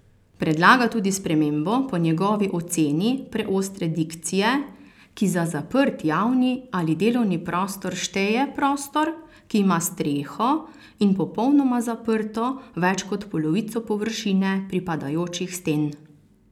Predlaga tudi spremembo po njegovi oceni preostre dikcije, ki za zaprt javni ali delovni prostor šteje prostor, ki ima streho in popolnoma zaprto več kot polovico površine pripadajočih sten.